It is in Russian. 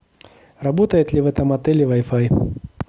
работает ли в этом отеле вай фай